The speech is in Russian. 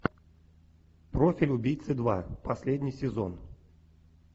профиль убийцы два последний сезон